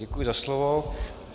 Děkuji za slovo.